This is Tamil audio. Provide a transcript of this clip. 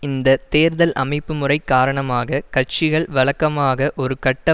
இந்த தேர்தல் அமைப்பு முறை காரணமாக கட்சிகள் வழக்கமாக ஒரு கட்ட